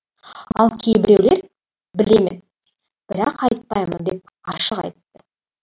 ал кейбіреулер білемін бірақ айтпаймын деп ашық айтты